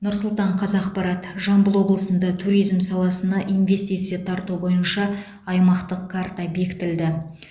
нұр сұлтан қазақпарат жамбыл облысында туризм саласына инвестиция тарту бойынша аймақтық карта бекітілді